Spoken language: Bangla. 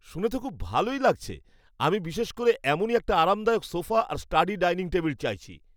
শুনে তো খুবই ভালো লাগছে! আমি বিশেষ করে এমনই একটা আরামদায়ক সোফা আর স্টাডি ডাইনিং টেবিল চাইছি।